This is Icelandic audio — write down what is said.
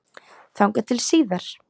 Þangað til síðar.